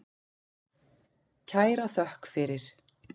Kæra þökk fyrir.